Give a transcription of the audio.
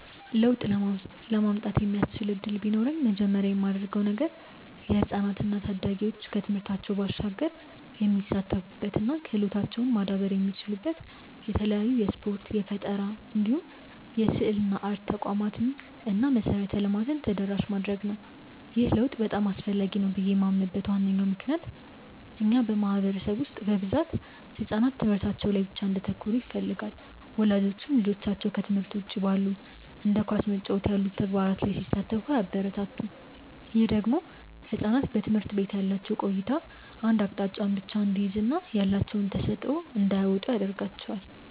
ለውጥ ለማምጣት የሚያስችል እድል ቢኖረኝ መጀመሪያ ማደርገው ነገር የህፃናት እና ታዳጊዎች ከትምህርታቸው ባሻገር የሚሳተፉበት እና ክህሎታቸውም ማዳበር የሚችሉበት የተለያዩ የስፖርት፣ የፈጠራ እንዲሁም የስዕልና አርት ተቋማትን እና መሰረተ ልማትን ተደራሽ ማድረግ ነው። ይህ ለውጥ በጣም አስፈላጊ ነው ብዬ ማምንበት ዋነኛ ምክንያት በእኛ ማህበረሰብ ውስጥ በብዛት ህጻናት ትምህርታቸው ላይ ብቻ እንዲያተኩሩ ይፈለጋል። ወላጆችም ልጆቻቸው ከትምህርት ውጪ ባሉ እንደ ኳስ መጫወት ያሉ ተግባራት ላይ ሲሳተፉ አያበረታቱም። ይህ ደግሞ ህጻናት በትምህርት ቤት ያላቸው ቆይታ አንድ አቅጣጫን ብቻ እንዲይዝ እና ያላቸውን ተሰጥዖ እንዳያወጡ ያረጋቸዋል።